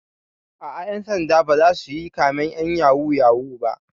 Aa, ƴan sanda ba zasu yi kamen ƴan yahoo yahoo ba